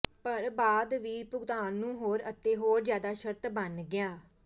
ਪਰ ਬਾਅਦ ਵੀ ਭੁਗਤਾਨ ਨੂੰ ਹੋਰ ਅਤੇ ਹੋਰ ਜਿਆਦਾ ਸ਼ਰਤ ਬਣ ਗਿਆ